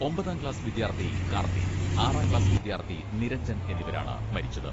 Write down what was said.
ഒമ്പതാംക്ലാസ് വിദ്യാർത്ഥി കാർത്തിക്, ആറാം ക്ലാസ് വിദ്യാർത്ഥി നിരഞ്ജൻ എന്നിവരാണ് മരിച്ചത്.